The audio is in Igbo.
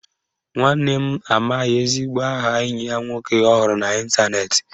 Nwanne m amaghị ezigbo aha enyi ya nwoke ọ hụrụ n'Ịntanet